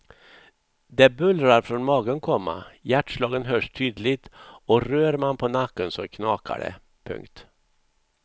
Det bullrar från magen, komma hjärtslagen hörs tydligt och rör man på nacken så knakar det. punkt